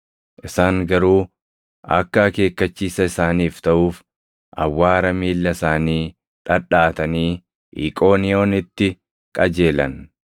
Isaan garuu akka akeekkachiisa isaaniif taʼuuf, awwaara miilla isaanii dhadhaʼatanii Iqooniyoonitti qajeelan.